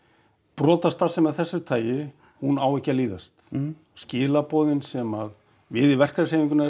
brotastarfsemi af þessu tagi hún á ekki að líðast skilaboðin sem við í verkalýðshreyfingunni erum